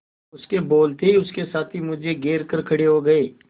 उसके बोलते ही उसके साथी मुझे घेर कर खड़े हो गए